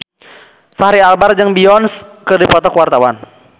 Fachri Albar jeung Beyonce keur dipoto ku wartawan